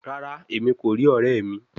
Rara, Emi ko ri ọrẹ mi